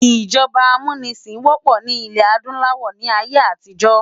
ijọba ámúnisin wòpò ni ilè-ádùláwò ni àiyé átijò